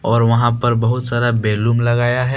और वहां पर बहुत सारा बेलुम बैलून लगाया है।